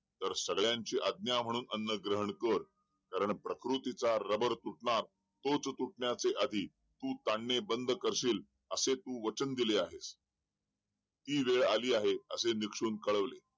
तर सगळ्यांची आज्ञा म्हणून तू अन्न ग्रहण कर कारण प्रकृतीचा रबर तुडणार तो तुडण्याच्या आधी तू ताणाने बंद करशील असे तू वचन दिले आहेस ती वेळ आली आहे असे निक्षून कळवले